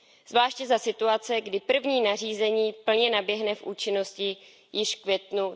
Zvláště za situace, kdy první nařízení plně vstoupí v účinnosti již v květnu